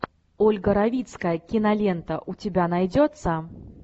ольга равицкая кинолента у тебя найдется